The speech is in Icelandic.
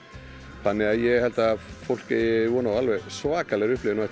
þannig að ég held að fólk eigi von á alveg svakalegri upplifun á eftir